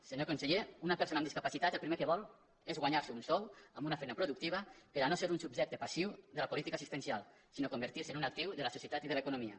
senyor conseller una persona amb discapacitat el pri·mer que vol és guanyar·se un sou amb una feina pro·ductiva per no ser un subjecte passiu de la política as·sistencial sinó convertir·se en un actiu de la societat i de l’economia